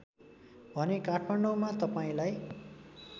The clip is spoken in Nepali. भने काठमाडौँमा तपाईँलाई